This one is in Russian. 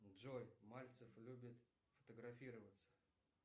джой мальцев любит фотографироваться